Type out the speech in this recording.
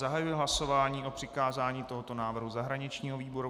Zahajuji hlasování o přikázání tohoto návrhu zahraničnímu výboru.